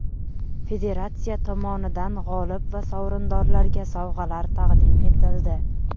Federatsiya tomonidan g‘olib va sovrindorlarga sovg‘alar taqdim etildi.